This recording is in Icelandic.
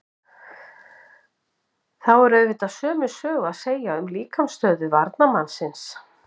Þá er auðvitað sömu sögu að segja um líkamsstöðu varnarmannsins.